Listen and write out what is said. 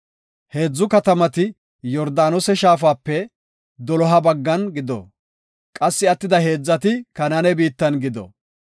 Heedzu katamati Yordaanose shaafape doloha baggan gido; qassi attida heedzati Kanaane biittan gido.